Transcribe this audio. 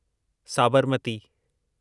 Sabarmati